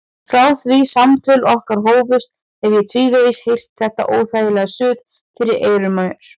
Frá því samtöl okkar hófust hef ég tvívegis heyrt þetta óþægilega suð fyrir eyrum mér.